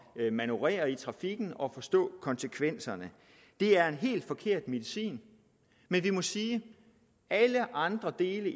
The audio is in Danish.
at manøvrere i trafikken og forstå konsekvenserne det er en helt forkert medicin men vi må sige at alle andre dele